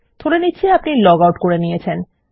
ধরে নিচ্ছি আপনি লগ আউট করে গেছেন